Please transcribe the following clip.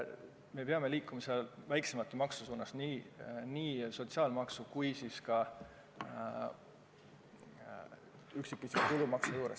Me peame liikuma väiksemate maksude suunas, seda nii sotsiaalmaksu kui ka üksikisiku tulumaksu puhul.